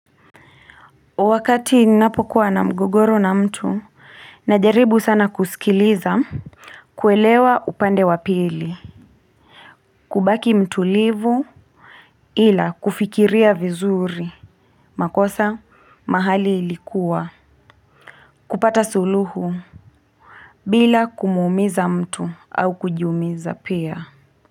Wakati ninapokuwa na mgogoro na mtu, najaribu sana kusikiliza kuelewa upande wa pili kubaki mtulivu ila kufikiria vizuri, makosa mahali ilikuwa kupata suluhu bila kumuumiza mtu au kujiumiza pia.